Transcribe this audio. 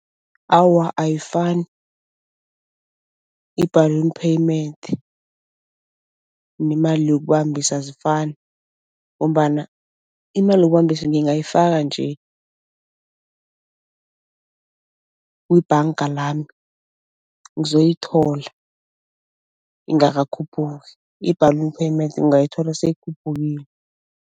Awa ayifani. I-balloon payment nemali yokubambisa azifani ngombana imali yokubambisa ngingayifaka nje kubhanga lami ngizoyithola ingakakhuphuki, i-balloon payment ungayithola seyikhuphukile.